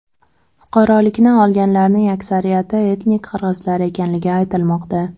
Fuqarolikni olganlarning aksariyati etnik qirg‘izlar ekanligi aytilmoqda.